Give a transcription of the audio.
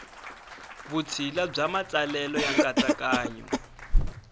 vutshila bya matsalelo ya nkatsakanyo